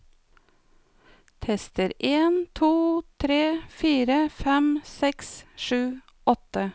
Tester en to tre fire fem seks sju åtte